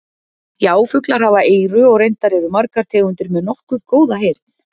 Já, fuglar hafa eyru og reyndar eru margar tegundir með nokkuð góða heyrn.